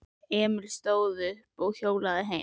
Emil stóð upp og hjólaði heim.